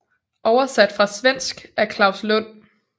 Oversat fra svensk af Claus Lund